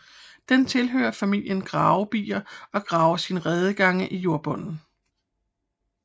Den tilhører familien gravebier og graver sine redegange i jordbunden